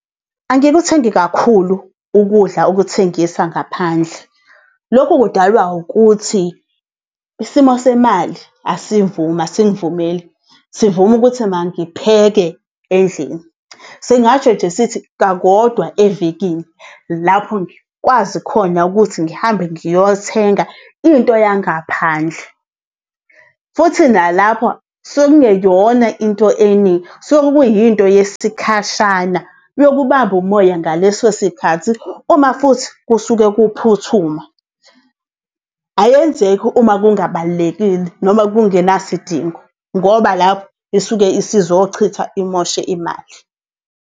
Angikuthengi kakhulu ukudla okuthengisa ngaphandle. Lokhu kudalwa ukuthi isimo semali asivumi, asingivumeli sivuma ukuthi mangipheke endlini. Singasho nje sithi kakodwa evekini lapho ngikwazi khona ukuthi ngihambe ngiyothenga into yangaphandle, futhi nalapho kusuke kungeyona into eningi, kusuke kuyinto yesikhashana yokubamba umoya ngaleso sikhathi uma futhi kusuke kuphuthuma. Ayenzeki uma kungabalulekile noma kungenasidingo ngoba lapho isuke isizochitha imoshe imali.